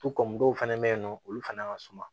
dɔw fɛnɛ be yen nɔ olu fana ka suma